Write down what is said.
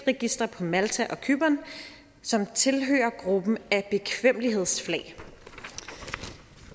registre på malta og cypern som tilhører gruppen af bekvemmelighedsflag